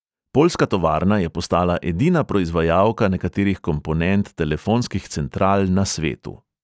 Poljska tovarna je postala edina proizvajalka nekaterih komponent telefonskih central na svetu.